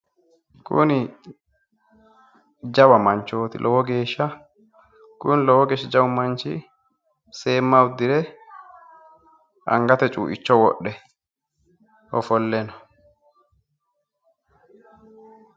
Kuni jawa manchooti lowo geeshsha kuni lowo geeshsha jawu manchi seemma uddire angate cuuicho wodhe ofolle no